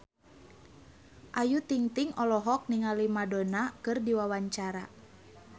Ayu Ting-ting olohok ningali Madonna keur diwawancara